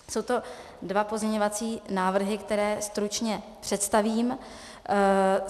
Jsou to dva pozměňovací návrhy, které stručně představím.